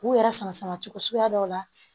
K'u yɛrɛ sama sama cogo suguya dɔw la